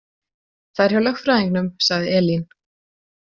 Það er hjá lögfræðingnum, sagði Elín.